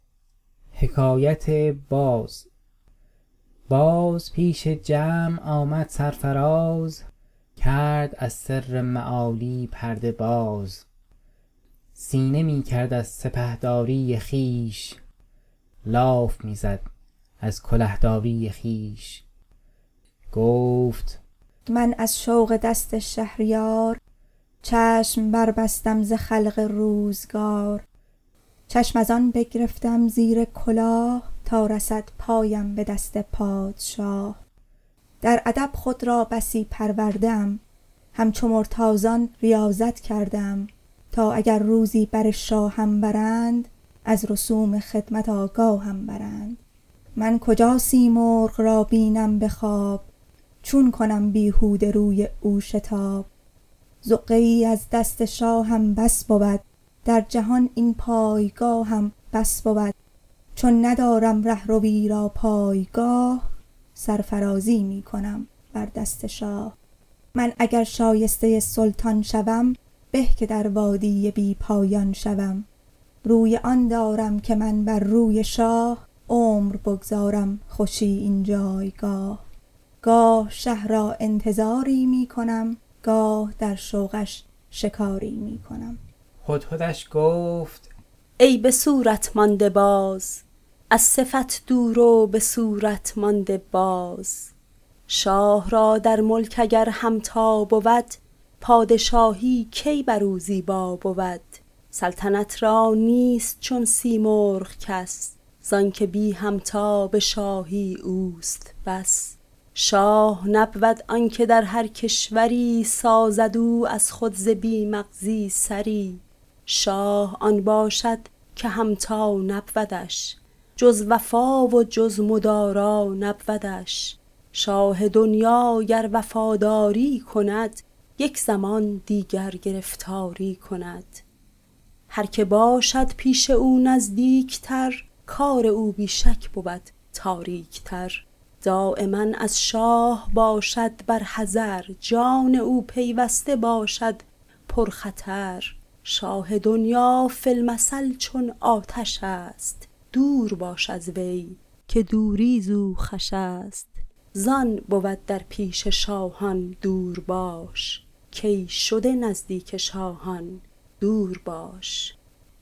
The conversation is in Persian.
باز پیش جمع آمد سرفراز کرد از سر معالی پرده باز سینه می کرد از سپه داری خویش لاف می زد از کله داری خویش گفت من از شوق دست شهریار چشم بربستم ز خلق روزگار چشم از آن بگرفته ام زیر کلاه تا رسد پایم به دست پادشاه در ادب خود را بسی پرورده ام همچو مرتاضان ریاضت کرده ام تا اگر روزی بر شاهم برند از رسوم خدمت آگاهم برند من کجا سیمرغ را بینم به خواب چون کنم بیهوده سوی او شتاب زقه ای از دست شاهم بس بود در جهان این پایگاهم بس بود چون ندارم رهروی را پایگاه سرفرازی می کنم بر دست شاه من اگر شایسته سلطان شوم به که در وادی بی پایان شوم روی آن دارم که من بر روی شاه عمر بگذارم خوشی این جایگاه گاه شه را انتظاری می کنم گاه در شوقش شکاری می کنم هدهدش گفت ای به صورت مانده باز از صفت دور و به صورت مانده باز شاه را در ملک اگر همتا بود پادشاهی کی بر او زیبا بود سلطنت را نیست چون سیمرغ کس زآنک بی همتا به شاهی اوست و بس شاه نبود آنک در هر کشوری سازد او از خود ز بی مغزی سری شاه آن باشد که همتا نبودش جز وفا و جز مدارا نبودش شاه دنیا گر وفاداری کند یک زمان دیگر گرفتاری کند هرک باشد پیش او نزدیک تر کار او بی شک بود تاریک تر دایما از شاه باشد بر حذر جان او پیوسته باشد پر خطر شاه دنیا فی المثل چون آتش است دور باش از وی که دوری زو خوش است زآن بود در پیش شاهان دور باش کای شده نزدیک شاهان دور باش